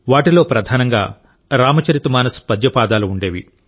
వాటిలో ప్రధానంగా రామచరితమానస్ పద్య పాదాలు ఉండేవి